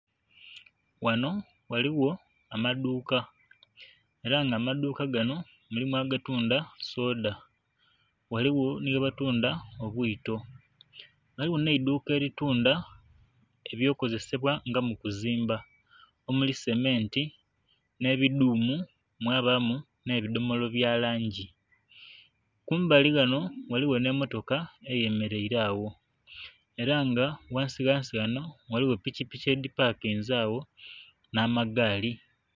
Wano ghaligho amadhuuka era nga amadhuuka gano mulimu agatundha soda, ghaligho neghebatundha obwiito. Ghaligho n'eidhuuka eri tundha ebyokozesebwa nga mukuzimba omuli sementi n'ebidhumu mwabamu n'ebidhomola byalangi. Kumbali wano ghaligho n'emmotoka eyemeraire agho era nga ghansi ghansi wano ghaligho pikipiki edhipakinze agho n'akagaali.